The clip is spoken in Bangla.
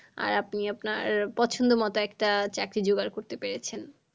আর আপনি আপনার পছন্দ মতো একটা চাকরি জোগাড় করতে পেরেছেন।